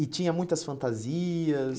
E tinha muitas fantasias?